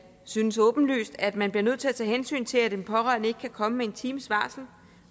synes åbenlyst at man bliver nødt til at tage hensyn til at en pårørende ikke kan komme med en times varsel